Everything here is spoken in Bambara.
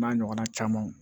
N'a ɲɔgɔnna camanw